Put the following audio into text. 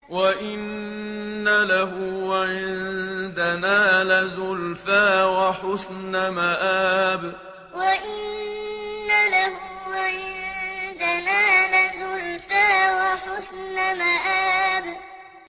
وَإِنَّ لَهُ عِندَنَا لَزُلْفَىٰ وَحُسْنَ مَآبٍ وَإِنَّ لَهُ عِندَنَا لَزُلْفَىٰ وَحُسْنَ مَآبٍ